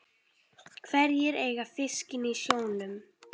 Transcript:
Hverjir eiga fiskinn í sjónum?